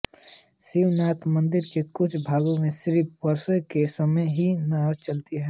शिवनाथ नदी के कुछ भागों में सिर्फ वर्षा के समय ही नावें चलती हैं